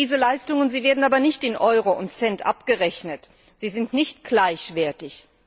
Diese Leistungen werden aber nicht in Euro und Cent abgerechnet. Sie sind nicht gleichwertig.